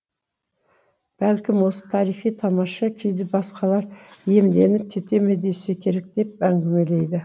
бәлкім осы тарихи тамаша күйді басқалар иемденіп кете ме десе керек деп әңгімелейді